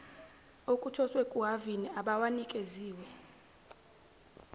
okuthoswe kuhhavini abawanikeziwe